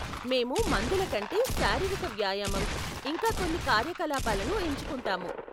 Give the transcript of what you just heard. మేము మందుల కంటే శారీరిక వ్యాయామం, ఇంకా కొన్ని కార్యకలాపాలను ఎంచుకుంటాము.